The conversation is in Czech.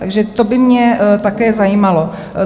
Takže to by mě také zajímalo.